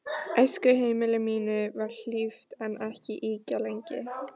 Æskuheimili mínu var hlíft en ekki ýkja lengi.